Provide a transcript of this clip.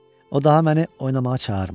O daha məni oynamağa çağırmırdı.